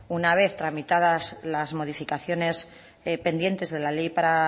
una vez tramitadas las modificaciones pendientes de la ley para